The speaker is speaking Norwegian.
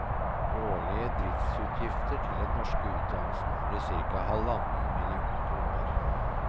Årlige driftsutgiftene til den norske utdannelsen blir cirka halvannen million kroner.